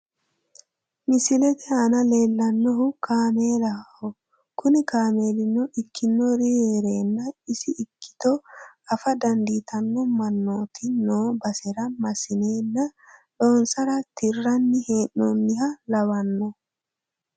Misilete asna leellannohu kaameelaho kuni kaameeluno ikkinori heerernna isi ikkito afa dandiittanno mannooti noo basera massineenna loonsara tirranni hee'noonniha lawanmo.